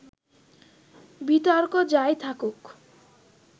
বিতর্ক যাই থাকুক